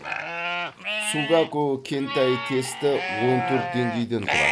сугаку кэнтай тесті он төрт деңгейден тұрады